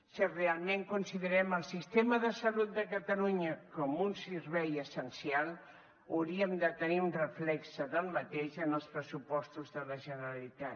si realment considerem el sistema de salut de catalunya com un servei essencial hauríem de tenir un reflex del mateix en els pressupostos de la generalitat